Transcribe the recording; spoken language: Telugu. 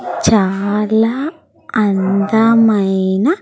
చాలా అందమైన.